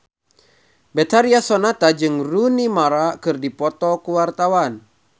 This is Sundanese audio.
Betharia Sonata jeung Rooney Mara keur dipoto ku wartawan